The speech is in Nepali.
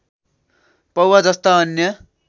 पौवा जस्ता अन्य